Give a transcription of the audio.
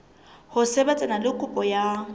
ho sebetsana le kopo ya